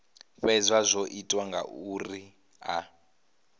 fhedza zwo ita zwauri a